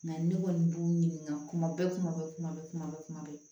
Mɛ ne kɔni b'u ɲininka kuma bɛɛ kuma bɛɛ kuma bɛɛ kuma bɛɛ kuma bɛɛ